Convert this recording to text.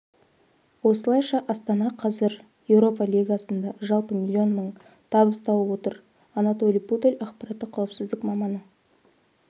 осылайша астана қазір еуропа лигасында жалпы миллион мың табыс тауып отыр анатолий пудель ақпараттық қауіпсіздік маманы